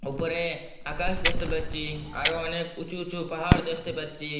ওপরে আকাশ দেখতে পাচ্চি আরও অনেক উঁচু উঁচু পাহাড় দেখতে পাচ্চি।